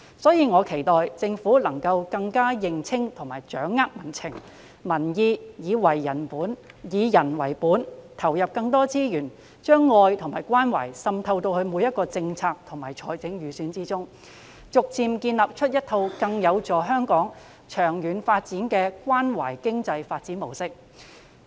因此，我期待政府能夠更認清及掌握民情和民意，以人為本，投入更多資源，將愛與關懷滲透到每一項政策及預算之中，逐漸建立一套更有助香港長遠發展的關懷經濟發展模式。